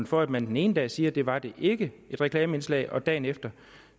for at man den ene dag siger at det var det ikke et reklameindslag og dagen efter